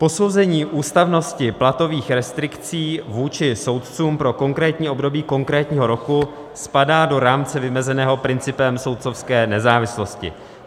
Posouzení ústavnosti platových restrikcí vůči soudcům pro konkrétní období konkrétního roku spadá do rámce vymezeného principem soudcovské nezávislosti.